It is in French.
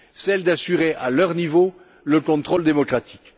celle d'assurer, à leur niveau, le contrôle démocratique.